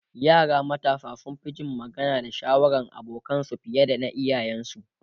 yara matasa sun Fi Jin magana da shawarar abokanansu fiye da na iyayen su